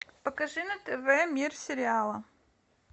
покажи на тв мир сериала